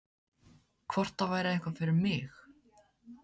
Hvort það væri eitthvað fyrir mig?